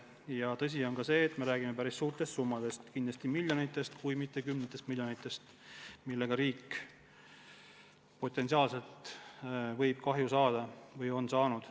On tõsi, et me räägime päris suurtest summadest, kindlasti miljonitest, kui mitte kümnetest miljonitest, mille ulatuses riik võib kahju saada või on juba saanud.